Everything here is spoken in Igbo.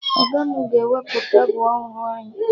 Ọga mụ ga-ewepụ tebụl ọrụ anyị